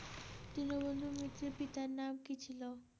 দীনবন্ধু মিত্রের পিতার নাম কী ছিল?